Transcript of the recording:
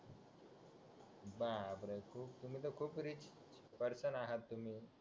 बापरे खूप तुम्ही तर खूप तुम्ही रिच पर्सन आहात तुम्ही